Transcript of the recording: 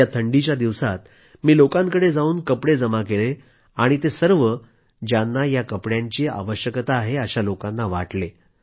या थंडीच्या दिवसांत मी लोकांकडे जावून कपडे जमा केले आणि ते सर्व ज्यांना या कपड्यांची आवश्यकता आहे अशा लोकांना वाटले